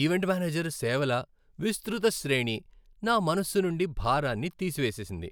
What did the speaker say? event manager సేవల విస్తృత శ్రేణి నా మనస్సు నుండి భారాన్ని తీసివేసింది,